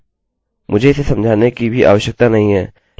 अब अंतिम वाला बहुत ही सरल है